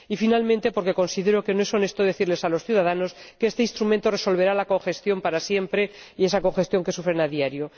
Y, por último, porque considero que no es honesto decirles a los ciudadanos que este instrumento resolverá la congestión para siempre, esa congestión que sufren a diario.